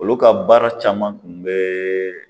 Olu ka baara caman kun bɛ